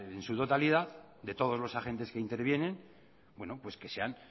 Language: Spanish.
sea en su totalidad de todos los agentes que intervienen bueno pues que sean